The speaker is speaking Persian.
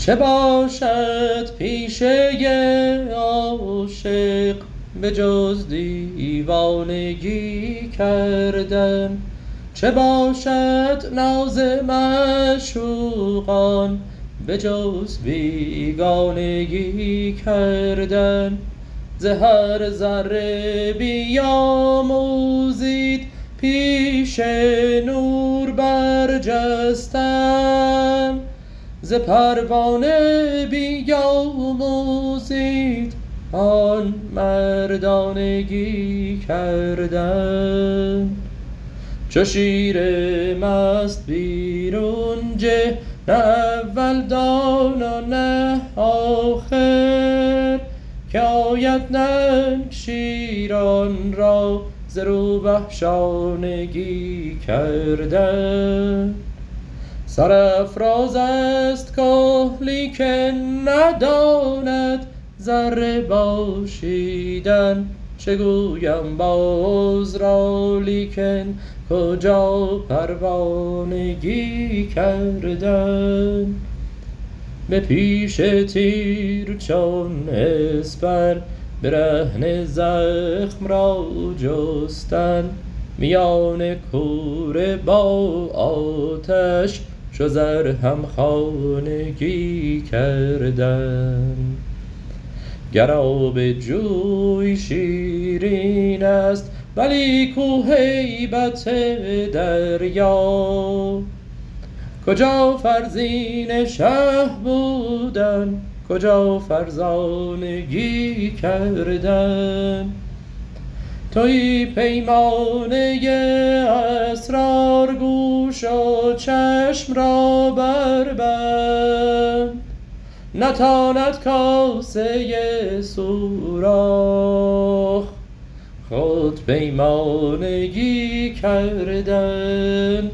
چه باشد پیشه عاشق به جز دیوانگی کردن چه باشد ناز معشوقان به جز بیگانگی کردن ز هر ذره بیاموزید پیش نور برجستن ز پروانه بیاموزید آن مردانگی کردن چو شیر مست بیرون جه نه اول دان و نه آخر که آید ننگ شیران را ز روبه شانگی کردن سرافراز است که لیکن نداند ذره باشیدن چه گویم باز را لیکن کجا پروانگی کردن به پیش تیر چون اسپر برهنه زخم را جستن میان کوره با آتش چو زر همخانگی کردن گر آب جوی شیرین است ولی کو هیبت دریا کجا فرزین شه بودن کجا فرزانگی کردن توی پیمانه اسرار گوش و چشم را بربند نتاند کاسه سوراخ خود پیمانگی کردن